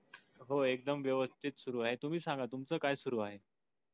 हो एकदम व्यवस्तीत सुरु आहे. तुम्ही सांगा तुमच काय सुरु आहे?